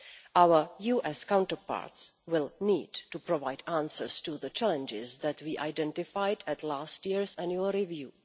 Our US counterparts will need to provide answers to the challenges that we identified at last year's annual review.